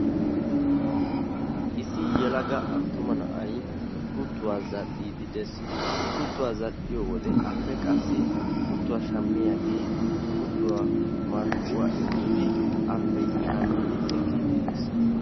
issi yelaga attuma na'ay kuttuwa zal'iidi des. i kuttuwa zal'iyo wode kutuiuwa shamiyagee kuttuwa marccuwa immidi appe shammidi ekiidid des.